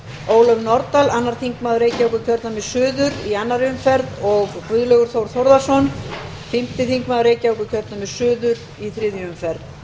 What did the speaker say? ólöf nordal annar þingmaður reykjavíkurkjördæmis suður í annarri umferð og guðlaugur þór þórðarson fimmti þingmaður reykjavíkurkjördæmis suður í þriðju umferð